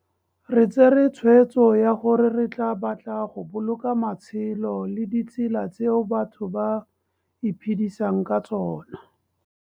Re tsere tshweetso ya gore re batla go boloka matshelo le ditselatseo batho ba iphedisang ka tsona.